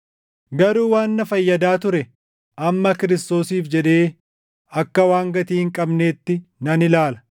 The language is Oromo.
Garuu waan na fayyadaa ture amma Kiristoosiif jedhee akka waan gatii hin qabneetti nan ilaala.